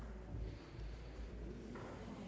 vi